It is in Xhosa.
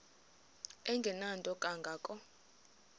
engenanto kanga ko